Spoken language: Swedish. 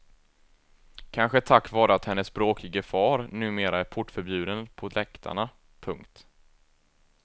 Kanske tack vare att hennes bråkige far numera är portförbjuden på läktarna. punkt